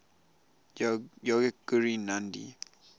yogic guru nandhi